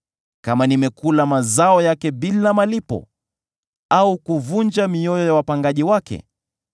kama nimekula mazao yake bila malipo, au kuvunja mioyo ya wapangaji wake,